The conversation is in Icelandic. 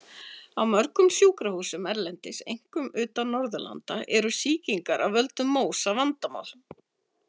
Á mörgum sjúkrahúsum erlendis, einkum utan Norðurlanda, eru sýkingar af völdum MÓSA vandamál.